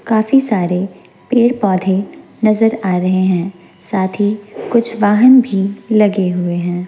काफी सारे पेड़ पौधे नजर आ रहे हैं साथ ही कुछ वाहन भी लगे हुए हैं।